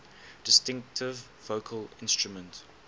distinctive vocal instrument